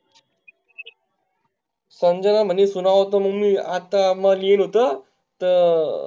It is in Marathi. संजना म्हणी सुनावतो मिनी अता म गेलीतो, तर